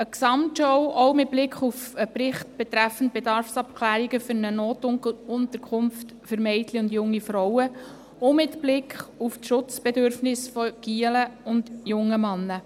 Eine Gesamtschau auch mit Blick auf einen Bericht betreffend Bedarfsabklärungen für eine Notunterkunft für Mädchen und junge Frauen und mit Blick auf die Schutzbedürfnisse von Buben und jungen Männern.